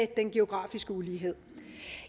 den geografiske ulighed